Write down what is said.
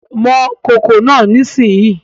Mọ kòkò náà nísìnyí